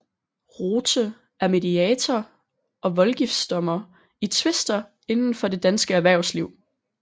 Rothe er mediator og voldgiftsdommer i tvister inden for det danske erhvervsliv